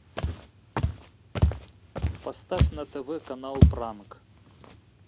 поставь на тв канал пранк